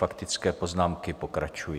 Faktické poznámky pokračují.